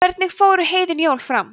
hvernig fóru heiðin jól fram